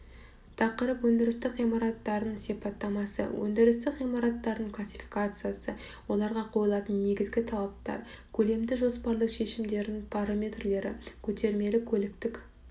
тақырып өндірістік ғимараттардың сипаттамасы өндірістік ғимараттардың классификациясы оларға қойылатын негізгі талаптар көлемді жоспарлы шешімдерінің параметрлері көтермелі-көліктік